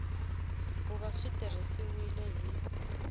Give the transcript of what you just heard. ku va swi tirhisiwile hi